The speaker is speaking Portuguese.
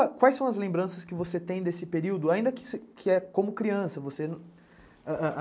Mas quais são as lembranças que você tem desse período, ainda que como criança?